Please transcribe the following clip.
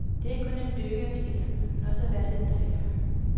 Det er ikke kun en lykke at blive elsket, men også at være den, der elsker.